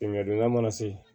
Samiyɛ donda mana se